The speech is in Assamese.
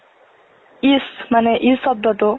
if মানে, ই শব্দতো ,